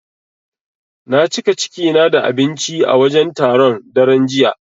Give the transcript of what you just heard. Na cika ciki na da abinci a wajen taron, daren jiya.